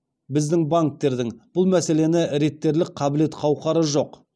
біздің банктердің бұл мәселені реттерлік қабілет қауқары жоқ